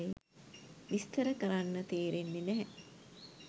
විස්තර කරන්න තේරෙන්නෙ නැහැ.